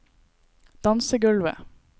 dansegulvet